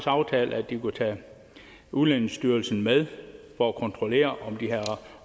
aftalt at de kunne tage udlændingestyrelsen med for at kontrollere om de havde